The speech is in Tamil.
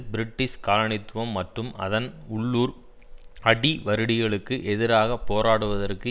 பிரிட்டிஷ் காலனித்துவம் மற்றும் அதன் உள்ளூர் அடிவருடிகளுக்கு எதிராக போராடுவதற்கு